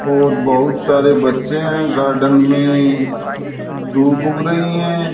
और बहुत सारे बच्चे है गार्डन मे दो बूक रही है।